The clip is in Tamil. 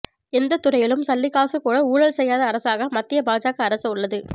எந்த துறையிலும் சல்லிக்காசு கூட ஊழல் செய்யாத அரசாக மத்திய பாஜக அரசு உள்ளது